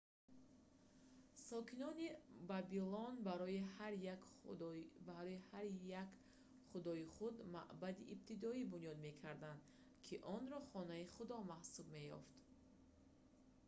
сокинони вавилон барои ҳар як худои худ маъбади ибтидоӣ бунёд мекарданд ки онро хонаи худо маҳсуб меёфт